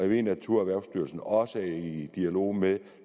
ved at naturerhvervsstyrelsen også er i dialog med